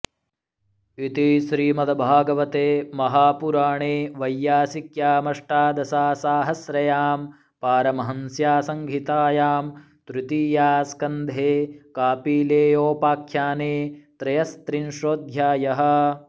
इति श्रीमद्भागवते महापुराणे वैयासिक्यामष्टादशासाहस्रयां पारमहंस्या संहितायां तृतीयास्कन्धे कापिलेयोपाख्याने त्रयस्त्रिंशोऽध्यायः